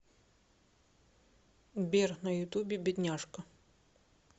сбер на ютубе бедняжка